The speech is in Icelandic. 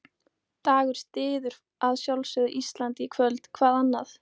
Dagur styður að sjálfsögðu Ísland í kvöld, hvað annað?